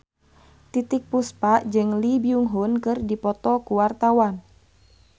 Titiek Puspa jeung Lee Byung Hun keur dipoto ku wartawan